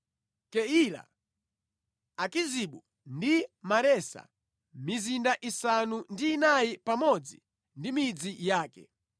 Keila, Akizibu ndi Maresa, mizinda isanu ndi inayi pamodzi ndi midzi yake.